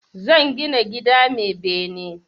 Zan gina gida mai bene